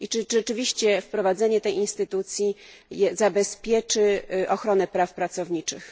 Czy rzeczywiście wprowadzenie tej instytucji zabezpieczy ochronę praw pracowniczych?